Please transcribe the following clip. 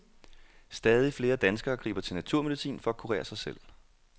Stadig flere danskere griber til naturmedicin for at kurere sig selv.